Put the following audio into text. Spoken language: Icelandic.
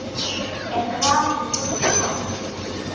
Er grasið svona gott?